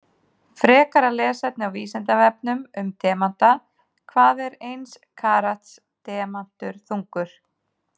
Frekara lesefni á Vísindavefnum um demanta: Hvað er eins karats demantur þungur?